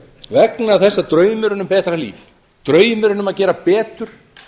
vegna þess að draumurinn um betra líf draumurinn um að gera betur